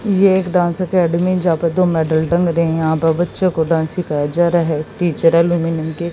ये एक dance academy जापे दो मेडल टांग रहे हैं यहां पर बच्चों को डांस सिखाया जा रहा है टीचर एल्युमिनियम के --